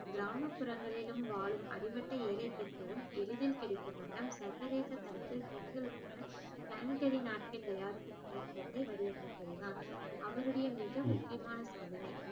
கிராமப்புறங்களிலும் வாழும் அடிமட்ட ஏழை பெண்களும் எளிதில் கிடைக்கும் வண்ணம் சர்வதேச தரத்தில் பெண்களுக்கான sanitary napkin தயாரிக்கும் இயந்திரத்தை வடிவமைத்ததுதான் அவருடைய மிக முக்கியமான சாதனை